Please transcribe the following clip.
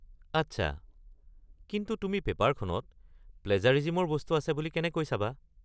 আচ্ছা! কিন্তু তুমি পেপাৰখনত প্লেজাৰিজিমৰ বস্তু আছে বুলি কেনেকৈ চাবা?